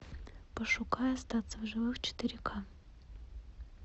пошукай остаться в живых четыре ка